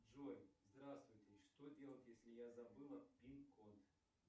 джой здравствуйте что делать если я забыла пин код